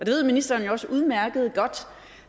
ved ministeren også udmærket godt